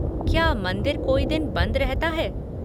क्या मंदिर कोई दिन बंद रहता है?